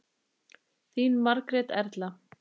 Þín Margrét Erla.